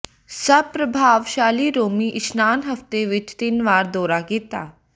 ਸਭ ਪ੍ਰਭਾਵਸ਼ਾਲੀ ਰੋਮੀ ਇਸ਼ਨਾਨ ਹਫ਼ਤੇ ਵਿਚ ਤਿੰਨ ਵਾਰ ਦੌਰਾ ਕੀਤਾ